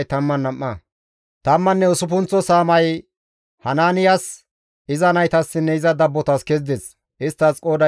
Tammanne usuppunththa saamay Hanaaniyas, iza naytassinne iza dabbotas kezides; isttas qooday 12.